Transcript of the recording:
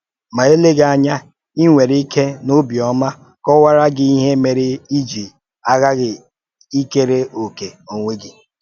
Ma eleghị anya, i nwere ike n’ọ̀bịọ́mà kọ̀waara gị ihe mèrè i ji aghàghị ịkèrè ọ̀kè onwe gị.